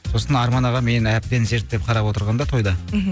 сосын арман аға мені әбден зерттеп қарап отырған да тойда мхм